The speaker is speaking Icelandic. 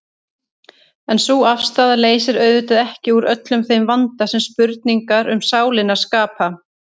En sú afstaða leysir auðvitað ekki úr öllum þeim vanda sem spurningar um sálina skapa.